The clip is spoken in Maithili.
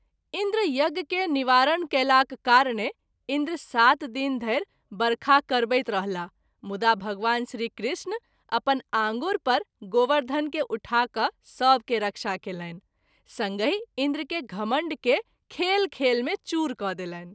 इंन्द्र यज्ञ के निवारण कएलाक कारणे इंन्द्र सात दिन धरि वर्षा कराबैत रहलाह मुदा भगवान श्री कृष्ण अपन आँगूर पर गोवर्धन के उठा क’ सभ के रक्षा कएलनि संगहि इंन्द्र के घमंड के खेल खेल मे चूर क’ देलनि।